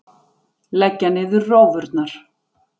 Leggja niður rófurnar!